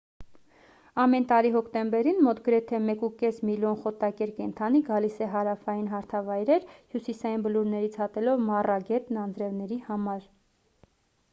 ամեն տարի հոկտեմբերին մոտ գրեթե 1.5 միլիոն խոտակեր կենդանի գալիս է հարավային հարթավայրեր հյուսիսային բլուրներից հատելով մառա գետն անձրևների համար